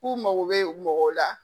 K'u mago bɛ mɔgɔw la